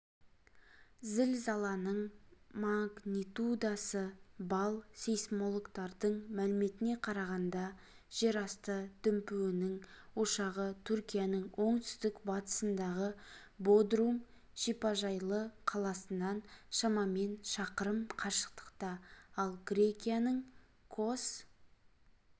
зілзаланың магнитудасы балл сейсмологтардың мәліметіне қарағанда жерасты дүмпуінің ошағы түркияның оңтүстік-батысындағы бодрум шипажайлы қаласынан шамамен шақырым қашықтықта ал грекияның кос